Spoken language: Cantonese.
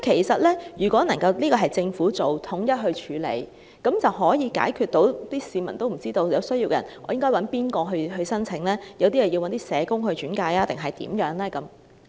所以，如果交由政府統一處理，便能夠解決市民和有需要人士不知道該向甚麼機構提出申請或是否要找社工轉介等問題。